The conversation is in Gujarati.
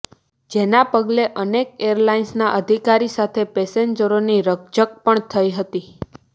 જેના પગલે અનેક એરલાઈન્સના અધિકારી સાથે પેસેન્જરોની રકઝક પણ થઈ હતી